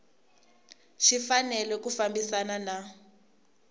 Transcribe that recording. xi fanele ku fambisana na